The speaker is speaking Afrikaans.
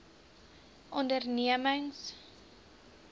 ondernemings